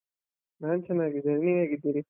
ನಾನ್ ಚನ್ನಾಗಿದ್ದೇನೆ, ನೀವ್ ಹೇಗಿದ್ದೀರಿ?